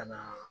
Ka na